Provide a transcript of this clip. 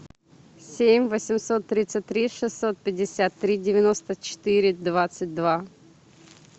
семь восемьсот тридцать три шестьсот пятьдесят три девяносто четыре двадцать два